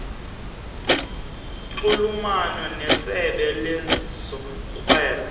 nxulumana nesebe lezorhwebo